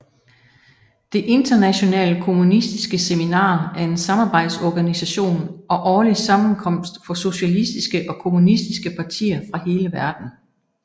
Det internationale kommunistiske seminar er en samarbejdsorganisation og årlig sammenkomst for socialistiske og kommunistiske partier fra hele verden